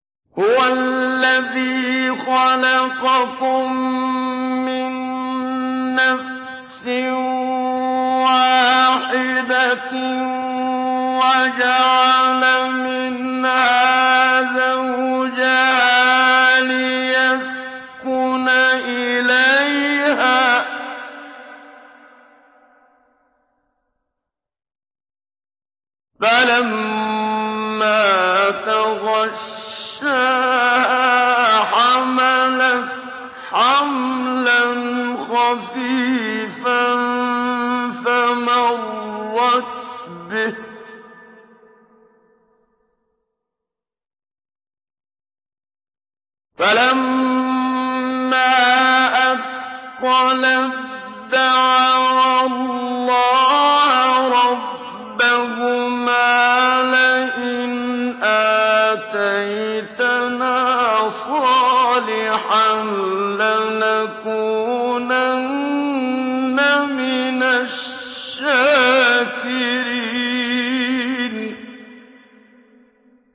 ۞ هُوَ الَّذِي خَلَقَكُم مِّن نَّفْسٍ وَاحِدَةٍ وَجَعَلَ مِنْهَا زَوْجَهَا لِيَسْكُنَ إِلَيْهَا ۖ فَلَمَّا تَغَشَّاهَا حَمَلَتْ حَمْلًا خَفِيفًا فَمَرَّتْ بِهِ ۖ فَلَمَّا أَثْقَلَت دَّعَوَا اللَّهَ رَبَّهُمَا لَئِنْ آتَيْتَنَا صَالِحًا لَّنَكُونَنَّ مِنَ الشَّاكِرِينَ